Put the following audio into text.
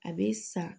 A be sa